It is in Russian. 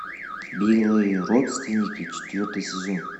беглые родственники четвертый сезон